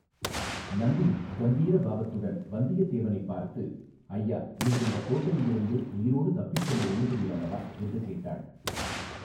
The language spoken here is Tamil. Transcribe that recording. நந்தினி கம்பீர பாவத்துடன் வந்தியத்தேவனைப் பார்த்து ஐயா நீர் இந்தக் கோட்டையிலிருந்து உயிரோடு தப்பிச் செல்ல எண்ணுகிறீர் அல்லவா என்று கேட்டாள்.